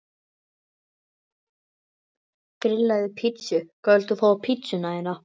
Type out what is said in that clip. Grillaði pizzu Hvað vilt þú fá á pizzuna þína?